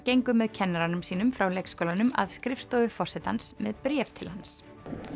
gengu með kennaranum sínum frá leikskólanum að skrifstofu forsetans með bréf til hans